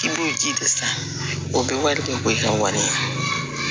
K'i b'o ji de san o bɛ wari kɛ ko i ka wari ye